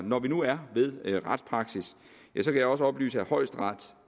når vi nu er ved retspraksis kan jeg også oplyse at højesteret